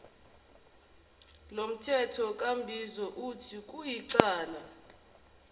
lomthethonkambiso uthi kuyicala